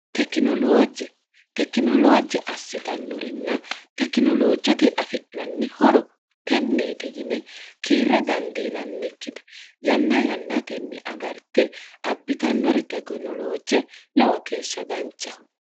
eijetekinoloojje assitannorinna tekinoloojjote afi'nanni horo tenneeti yine kiirre dandiinannikkite yanna yannatenni agarte abbitannori teginoloojje lowo keeshsha danchaho